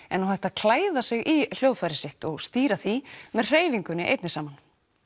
er nú hægt að klæða sig í hljóðfærið sitt og stýra því með hreyfingunni einni saman